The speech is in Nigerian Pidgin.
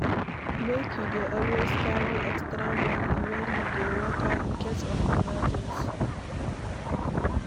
Make you dey always carry extra money wen you dey waka in case of emergency